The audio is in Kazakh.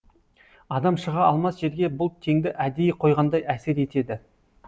адам шыға алмас жерге бұл теңді әдейі қойғандай әсер етеді